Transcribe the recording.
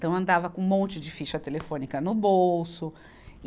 Então, andava com um monte de ficha telefônica no bolso. e